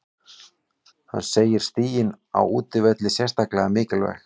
Hann segir stigin á útivelli sérstaklega mikilvæg.